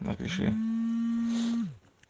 напиши